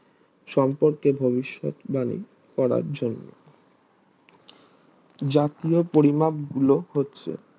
সম্পর্কে ভবিষৎ বাণী করার জন্য জাতীয় পরিমাপ গুলো হচ্ছে